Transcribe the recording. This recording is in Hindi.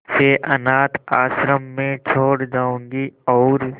इसे अनाथ आश्रम में छोड़ जाऊंगी और